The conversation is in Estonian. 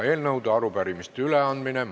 Eelnõude ja arupärimiste üleandmine.